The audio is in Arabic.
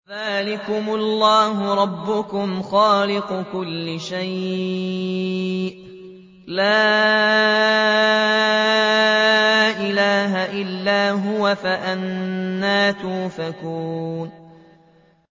ذَٰلِكُمُ اللَّهُ رَبُّكُمْ خَالِقُ كُلِّ شَيْءٍ لَّا إِلَٰهَ إِلَّا هُوَ ۖ فَأَنَّىٰ تُؤْفَكُونَ